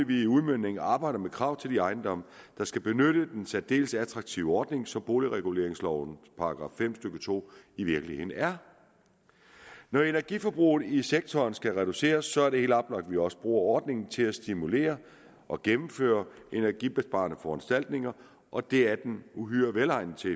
vi i udmøntningen arbejder med krav til de ejendomme der skal benytte den særdeles attraktive ordning som boligreguleringslovens § fem stykke to i virkeligheden er når energiforbruget i sektoren skal reduceres er det helt oplagt at vi også bruger ordningen til at stimulere og gennemføre energibesparende foranstaltninger og det er den uhyre velegnet til